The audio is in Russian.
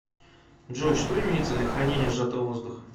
джой что имеется для хранения сжатого воздуха